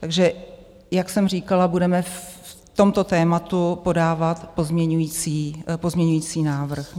Takže jak jsem říkala, budeme v tomto tématu podávat pozměňující návrh.